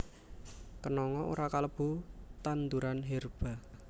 Kenanga ora kalebu tanduran herba